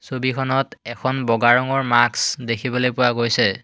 ছবিখনত এখন বগা ৰঙৰ মাক্স দেখিবলৈ পোৱা গৈছে।